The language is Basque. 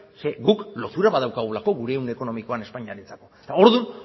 guk lotura bat daukagulako gure ehun ekonomikoan espainiarentzako orduan